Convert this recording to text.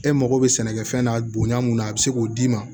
E mago bɛ sɛnɛkɛfɛn na bonya mun na a be se k'o d'i ma